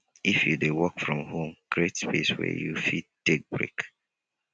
if you dey work from home create space where you fit take break